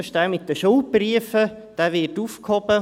das ist jener mit den Schuldbriefen.